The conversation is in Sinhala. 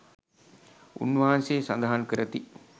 උන්වහන්සේ සඳහන් කරති.